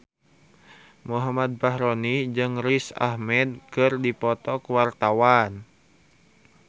Muhammad Fachroni jeung Riz Ahmed keur dipoto ku wartawan